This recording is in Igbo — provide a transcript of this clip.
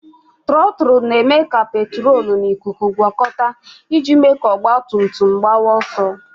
Trọtụlụ na-eme ka petrolu na ikuku gwọkọta iji mee ka ọgbatumtum gbakwuo ọsọ.